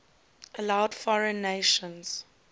allowed foreign nations